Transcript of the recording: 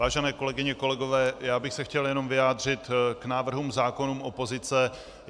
Vážené kolegyně, kolegové, já bych se chtěl jenom vyjádřit k návrhům zákonů opozice.